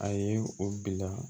A ye o bila